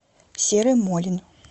серый молин